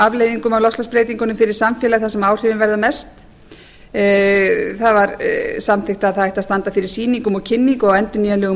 afleiðingum af loftslagsbreytingunum fyrir samfélagið þar sem áhrifin verða mest það var samþykkt að það ætti að standa fyrir sýningum og kynningu á endurnýjanlegum